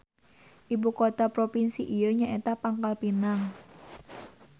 Ibu kota propinsi ieu nyaeta Pangkalpinang.